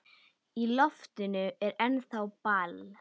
Í loftinu er ennþá ball.